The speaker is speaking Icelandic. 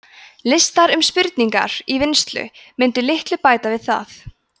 listar um spurningar í vinnslu mundu litlu bæta við það